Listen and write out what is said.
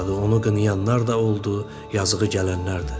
onu qınayanlar da oldu, yazıığı gələnlər də.